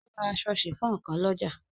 O ra aṣọ sifon kan lọ́jà.